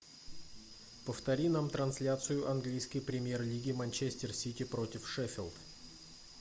повтори нам трансляцию английской премьер лиги манчестер сити против шеффилд